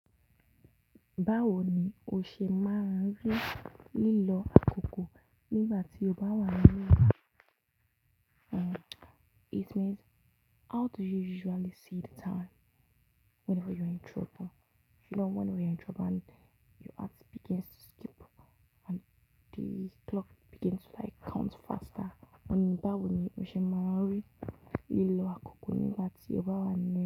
Báwo ni o ṣe máa ń rí lílọ àkókò nígbà tí o bá wà nínú ìbá? Uhm, it means how do you usually see the time whenever you're in trouble? You know, when you're in trouble and your heart begins to skip and the clock begins to like count faster. Báwo ni o ṣe máa ń rí lílọ àkókò nígbà tí o bá wà nínú?